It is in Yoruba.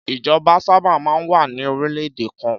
Ìjọba sábà máa ń wà ní orílẹ̀-èdè kan.